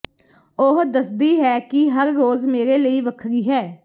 ਉਹ ਦੱਸਦੀ ਹੈ ਕਿ ਹਰ ਰੋਜ਼ ਮੇਰੇ ਲਈ ਵੱਖਰੀ ਹੈ